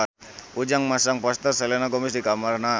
Ujang masang poster Selena Gomez di kamarna